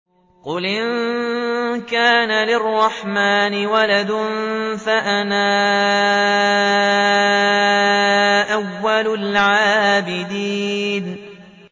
قُلْ إِن كَانَ لِلرَّحْمَٰنِ وَلَدٌ فَأَنَا أَوَّلُ الْعَابِدِينَ